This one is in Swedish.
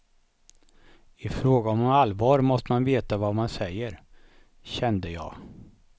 I fråga om allvar måste man veta vad man säger, kände jag.